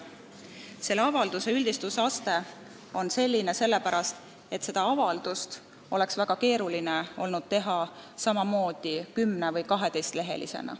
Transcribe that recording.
Selle avalduse üldistusaste on selline sellepärast, et seda oleks olnud väga keeruline teha 10- või 12-lehelisena.